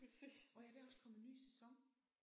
Åh ja der er også kommet ny sæson